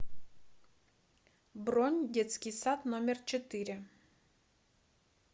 бронь детский сад номер четыре